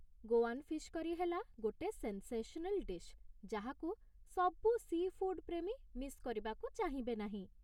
Goan fish କରି ହେଲା ଗୋଟେ ସେନ୍ସେସନାଲ୍ ଡିଶ୍ ଯାହାକୁ ସବୁ ସି' ଫୁଡ୍ ପ୍ରେମୀ ମିସ୍ କରିବାକୁ ଚାହିଁବେ ନାହିଁ ।